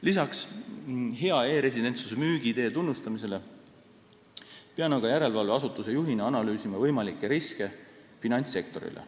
Lisaks hea e-residentsuse müügiidee tunnustamisele pean aga järelevalveasutuse juhina analüüsima võimalikke riske finantssektorile.